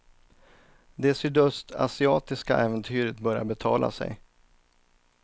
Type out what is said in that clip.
Det sydöstasiatiska äventyret börjar betala sig.